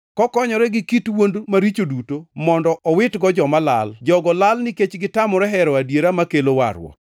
kokonyore gi kit wuond maricho duto mondo owitgo joma lal. Jogo lal nikech negitamore hero adiera makelo warruok.